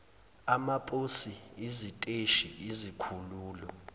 amaposi iziteshi izikhululo